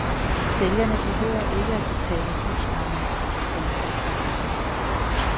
Sælgerne behøver ikke at betale husleje for en dyr forretning.